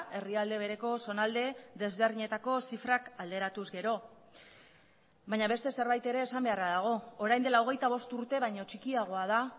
herrialde bereko zonalde desberdinetako zifrak alderatuz gero baina beste zerbait ere esan beharra dago orain dela hogeita bost urte baino txikiagoa da